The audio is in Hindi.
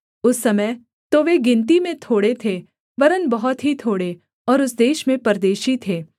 उस समय तो वे गिनती में थोड़े थे वरन् बहुत ही थोड़े और उस देश में परदेशी थे